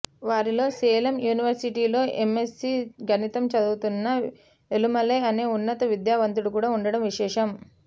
వారిలో సేలం యూనివర్సిటీలో ఎమ్మెస్సీ గణితం చదువుతున్న ఏలుమలై అనే ఉన్నత విద్యావంతుడు కూడా ఉండడం విశేషం